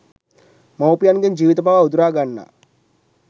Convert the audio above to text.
මවුපියන්ගේ ජීවිත පවා උදුරා ගන්නා